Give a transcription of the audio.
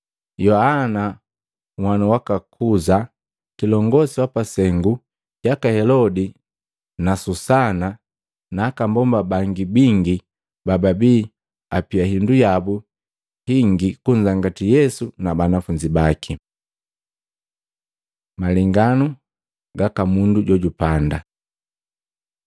Yoana nhwanu waka Kuza, kilongosi wapasengu jaka Helodi na Susana na aka mbomba bangi bingi bababii apia hindu yabu hingi kunzangati Yesu na banafunzi baki. Malenganu gaka mundu jojupanda Matei 13:1-9; Maluko 4:1-9